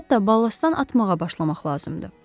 Hətta balastdan atmağa başlamaq lazımdır.